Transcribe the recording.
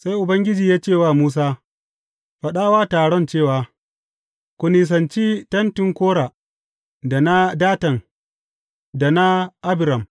Sai Ubangiji ya ce wa Musa, Faɗa wa taron cewa, Ku nisanci tentin Kora, da na Datan, da na Abiram.’